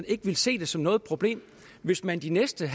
ikke ville se det som noget problem hvis man de næste en